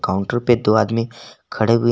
counter पे दो आदमी खड़े हुए--